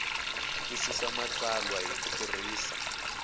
twisisa matsalwa hi ku tirhisa